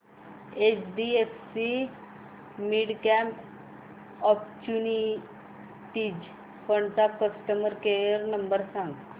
HDFC midcap opportunities fund चा customer care number सांग